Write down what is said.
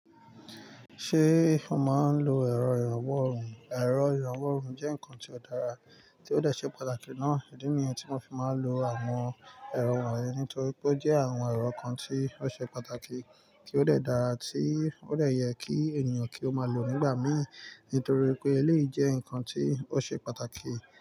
Ṣé o má ń lò ẹ́ro ìrànwọ́ ohùn? Ẹ̀rọ ìrànwọ́ ohùn jẹ́ ǹkan tí ó dára, tí ó dẹ̀ ṣe pàtàkì náà. Ìdí ní yẹn tí mo fi máa ń lo àwọn ẹ̀rọ wọ̀nyí nitori pe ó jẹ́ àwọn ẹ̀rọ kan tí ó ṣe pàtàkì tí ó dẹ̀ dára tí ó dẹ̀ yẹ kí ènìyàn kí ó máa lò nígbà mí nítorí pé eléyìí jẹ́ ǹkan tí ó ṣe pàtàkì.